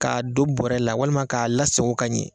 K'a don bɔrɛ la walima k'a lasago ka ɲɛ